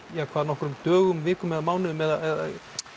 hvað nokkrum dögum nokkrum vikum eða mánuðum eða